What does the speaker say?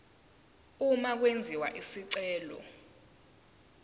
uma kwenziwa isicelo